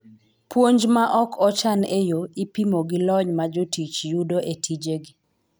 Puonj ma ok ochan e yo, ipimo gi lony ma jotich yudo e tijegi.